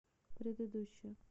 предыдущая